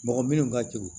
Mɔgɔ minnu ka teli